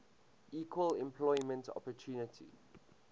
equal employment opportunity